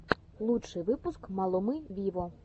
лучший выпуск малумы виво